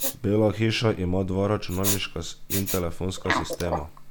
Bela hiša ima dva računalniška in telefonska sistema.